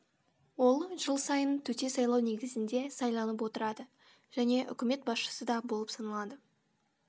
ол жыл сайын төте сайлау негізінде сайланып отырады және үкімет басшысы да болып саналады